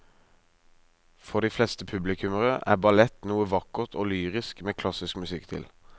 For de fleste publikummere er ballett noe vakkert og lyrisk med klassisk musikk til.